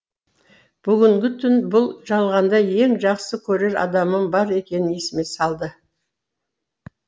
бүгінгі түн бұл жалғанда ең жақсы көрер адамым бар екенін есіме салды